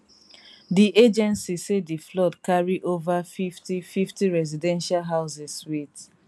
di agency say di flood carry ova 50 50 residential houses wit